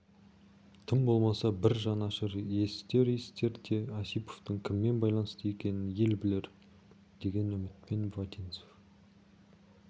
тым болмаса бір жанашыр есітер есітер де осиповтың кіммен байланысты екенін ел білер деген үмітпен вотинцев